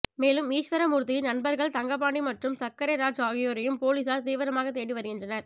மேலும் ஈஸ்வர மூர்த்தியின் நண்பர்கள் தங்கபாண்டி மற்றும் சர்க்கரை ராஜ் ஆகியோரையும் போலீஸார் தீவிரமாக தேடி வருகின்றனர்